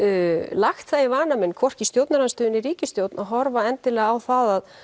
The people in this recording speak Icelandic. lagt það í vana minn hvorki í stjórnarandstöðu né ríkisstjórn að horfa endilega á það að